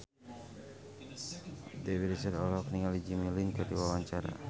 Dewi Rezer olohok ningali Jimmy Lin keur diwawancara